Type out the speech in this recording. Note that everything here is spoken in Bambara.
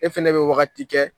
E fɛnɛ bɛ wagati kɛ